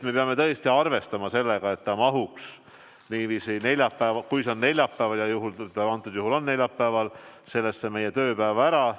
Me peame tõesti arvestama sellega, et see mahuks neljapäeval, kui see on neljapäeval – ja antud juhul see on neljapäeval – meie tööpäeva ära.